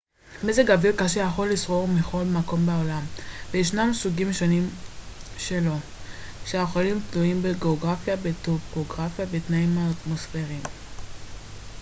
מזג אוויר קשה יכול לשרור בכל מקום בעולם וישנם סוגים שונים שלו שיכולים תלויים בגאוגרפיה בטופוגרפיה ובתנאים האטמוספריים